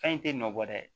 Fɛn in te nɔ bɔ dɛ